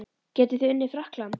Getið þið unnið Frakkland?